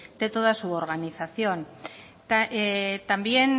de toda su organización también